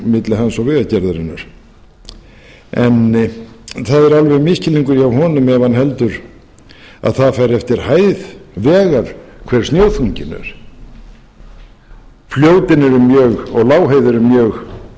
milli hana og vegagerðarinnar en það er alveg misskilningur hjá honum ef hann heldur að það fari eftir hæð vegar hve snjóþunginn er fljótin og lágheiði eru mjög